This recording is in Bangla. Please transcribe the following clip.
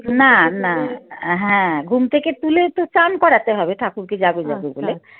না না এর ঘুম থেকে তুলে তো চান করাতে হবে ঠাকুরকে জাগো বলে